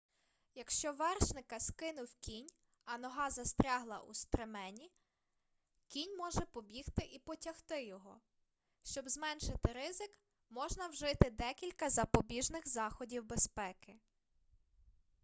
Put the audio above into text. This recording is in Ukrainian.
якщо вершника скинув кінь а нога застрягла у стремені кінь може побігти і потягти його щоб зменшити ризик можна вжити декілька запобіжних заходів безпеки